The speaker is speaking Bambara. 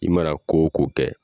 I mana ko o ko kɛ